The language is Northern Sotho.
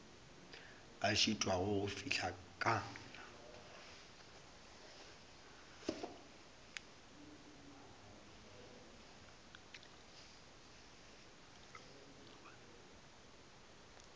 a šitwago go fihla ka